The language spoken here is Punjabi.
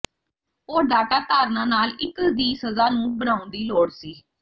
ਉਹ ਡਾਟਾ ਧਾਰਨਾ ਨਾਲ ਇੱਕ ਦੀ ਸਜ਼ਾ ਨੂੰ ਬਣਾਉਣ ਦੀ ਲੋੜ ਸੀ